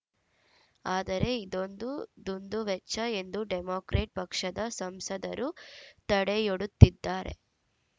ಆದರೆ ಇದೊಂದು ದುಂದುವೆಚ್ಚ ಎಂದು ಡೆಮಾಕ್ರೆಟ್‌ ಪಕ್ಷದ ಸಂಸದರು ತಡೆಯೊಡ್ಡುತ್ತಿದ್ದಾರೆ